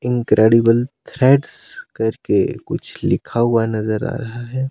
Incredible threads कर के कुछ लिखा हुआ नजर आ रहा है।